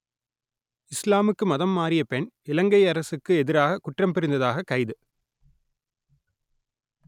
இஸ்லாமுக்கு மதம் மாறிய பெண் இலங்கை அரசுக்கு எதிராகக் குற்றம் புரிந்ததாகக் கைது